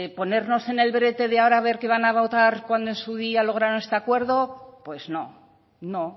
ponernos en el brete de ahora ver qué van a votar cuando en su día lograron este acuerdo pues no no